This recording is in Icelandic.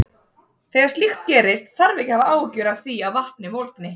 Þegar slíkt gerist þarf ekki að hafa áhyggjur af því að vatnið volgni.